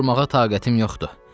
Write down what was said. Durmağa taqətim yoxdur.